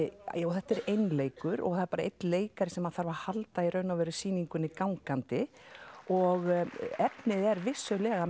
þetta er einleikur og það er bara einn leikari sem að þarf að halda í raun og veru sýningunni gangandi og efnið er vissulega